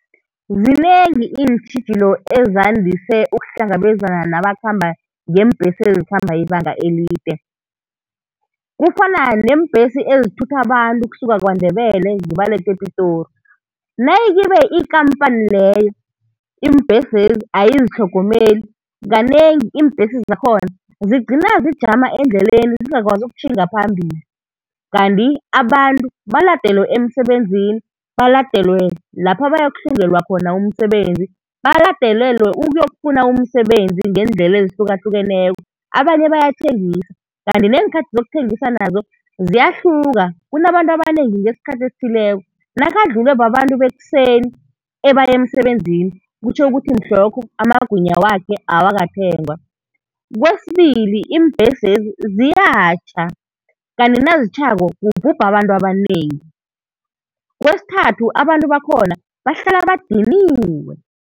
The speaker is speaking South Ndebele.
Zinengi iintjhijilo ezandise ukuhlangabezana nabakhamba ngeembhesi ezikhamba ibanga elide, kufana neembhesi ezithutha abantu ukusuka KwaNdebele zibalethe ePitori. Nayikibe ikampani leyo, iimbhesezi ayizitlhogomeli, kanengi iimbhesi zakhona zigcina zijama endleleni zingakwazi ukutjhinga phambili. Kanti abantu baladelwe emsebenzini, Baladelwe lapha bayokuhlungelwa khona umsebenzi, baladelelwe ukuyokufuna umsebenzi ngeendlela ezihlukahlukeneko. Abanye bayathengisa, kanti neenkhathi zokuthengisa nazo ziyahluka, kunabantu abanengi ngesikhathi esithileko, nakadlulwe babantu bekuseni ebaya emsebenzini kutjho ukuthi mhlokho amagwinya wakhe awakathengwa. Kwesibili, iimbhesezi ziyatjha, kanti nazitjhako kubhubha abantu abanengi. Kwesithathu abantu bakhona bahlala badiniwe.